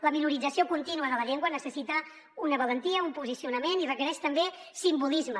la minorització contínua de la llengua necessita una valentia un posicionament i requereix també simbolisme